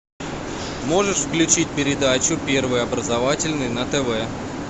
можешь включить передачу первый образовательный на тв